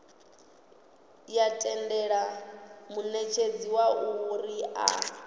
ya tendela munetshedzi uri a